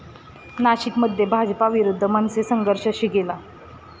नाशिकमध्ये भाजप विरुद्ध मनसे संघर्ष शिगेला